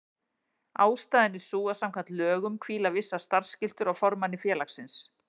Ástæðan er sú að samkvæmt lögum hvíla vissar starfsskyldur á formanni félagsins.